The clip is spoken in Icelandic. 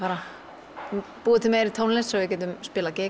búa til meiri tónlist svo við gætum spilað